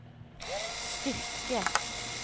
stycke